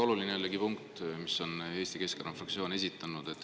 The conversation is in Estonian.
Jällegi väga oluline punkt, mille Eesti Keskerakonna fraktsioon on esitanud.